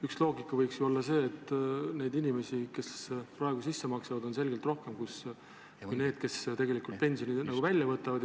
Üks loogika võiks ju olla see, et neid inimesi, kes praegu sisse maksavad, on selgelt rohkem kui neid, kes tegelikult pensioni välja võtavad.